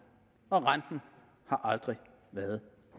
og renten har aldrig været